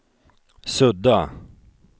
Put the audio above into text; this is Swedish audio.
sudda